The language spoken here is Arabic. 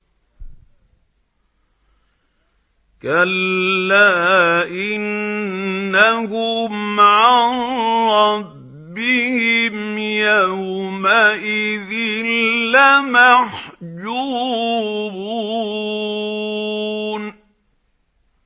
كَلَّا إِنَّهُمْ عَن رَّبِّهِمْ يَوْمَئِذٍ لَّمَحْجُوبُونَ